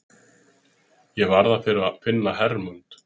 Ég varð að finna Hermund.